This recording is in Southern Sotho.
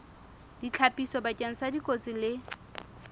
ditlhapiso bakeng sa dikotsi le